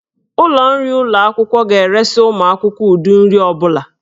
Ụlọ nri ụlọ akwụkwọ ga-eresị ụmụ akwụkwọ ụdị nri ọ bụla.